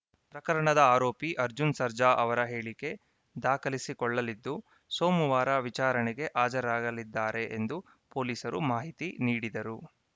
ಪ್ರಕರಣದ ಆರೋಪಿ ಅರ್ಜುನ್‌ ಸರ್ಜಾ ಅವರ ಹೇಳಿಕೆ ದಾಖಲಿಸಿಕೊಳ್ಳಲಿದ್ದು ಸೋಮವಾರ ವಿಚಾರಣೆಗೆ ಹಾಜರಾಗಲಿದ್ದಾರೆ ಎಂದು ಪೊಲೀಸರು ಮಾಹಿತಿ ನೀಡಿದರು